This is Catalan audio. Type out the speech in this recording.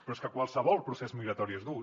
però és que qualsevol procés migratori és dur